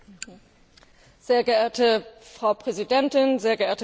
Frau Präsidentin, sehr geehrte Frau Kommissarin, sehr geehrter Rat!